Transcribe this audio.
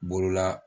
Bolola